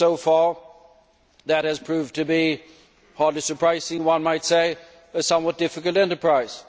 So far that has proved to be hardly surprising, one might say a somewhat difficult enterprise.